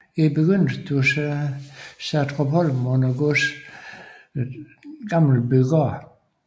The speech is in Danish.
I begyndelsen stod Satrupholm under godset Gammelbygaard